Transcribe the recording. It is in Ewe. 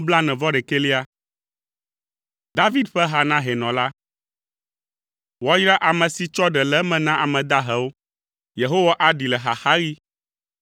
David ƒe ha na hɛnɔ la. Woayra ame si tsɔ ɖe le eme na ame dahewo, Yehowa aɖee le xaxaɣi.